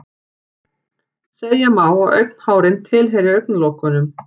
Segja má að augnhárin tilheyri augnlokunum.